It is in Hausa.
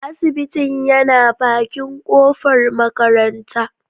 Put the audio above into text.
Asibitin yana bakin kofar makaranta.